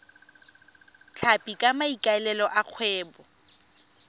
tlhapi ka maikaelelo a kgwebo